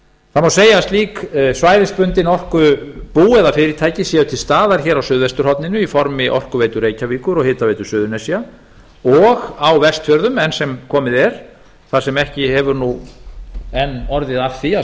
það má segja að slík svæðisbundin orkubú eða fyrirtæki séu til staðar hér á suðvesturhorninu í formi orkuveitu reykjavíkur og hitaveitu suðurnesja og á vestfjörðum enn sem komið er þar sem ekki hefur nú enn orðið af því að